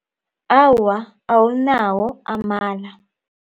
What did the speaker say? Awa, awunawo amala.